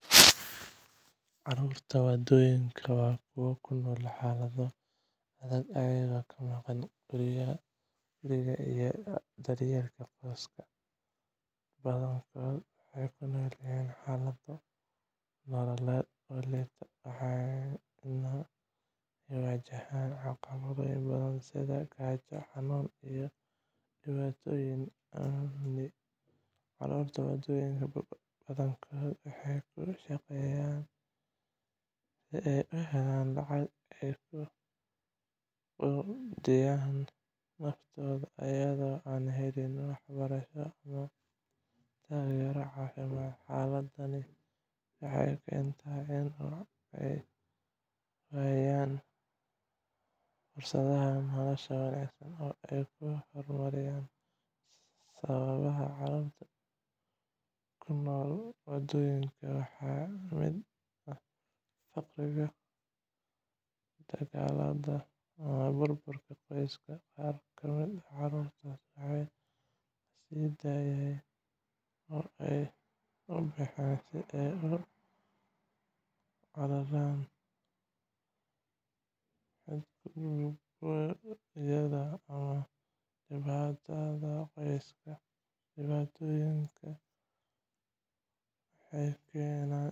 Carruurta waddooyinka waa kuwo ku nool xaalado adag, iyagoo ka maqan guriga iyo daryeelka qoyskooda. Badankood waxay ku nool yihiin xaalado nololeed oo liita, waxaana ay wajahaan caqabado badan sida gaajo, xanuuno, iyo dhibaatooyin amni. Carruurta waddooyinka badankood waxay ku shaqeeyaan si ay u helaan lacag ay ku quudiyaan naftooda, iyadoo aan la helin waxbarasho ama taageero caafimaad. Xaaladani waxay keentaa in carruurtu ay waayaan fursadaha nolosha wanaagsan oo ay ku horumariyaan. Sababaha carruurta ku nool waddooyinka waxaa ka mid ah faqriga, dagaalada, iyo burburka qoysaska. Qaar ka mid ah carruurtaas waxaa la sii daayay oo ay u baxeen si ay uga cararaan xadgudubyada ama dhibaatada qoyska. Dhibaatooyinkaas waxay